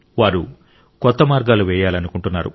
వారు కొత్త మార్గాలు వేయాలనుకుంటున్నారు